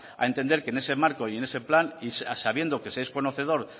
a entender que en ese marco y en ese plan y sabiendo que se es conocedor